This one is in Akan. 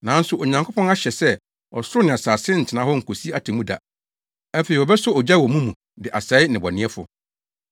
Nanso Onyankopɔn ahyɛ sɛ ɔsoro ne asase ntena hɔ nkosi atemmuda. Afei wɔbɛsɔ ogya wɔ mu de asɛe nnebɔneyɛfo.